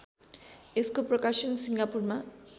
यसको प्रकाशन सिङ्गापुरमा